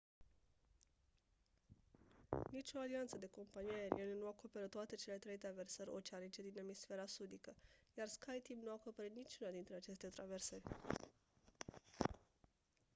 nicio alianță de companii aeriene nu acoperă toate cele trei traversări oceanice din emisfera sudică iar skyteam nu acoperă niciuna dintre aceste traversări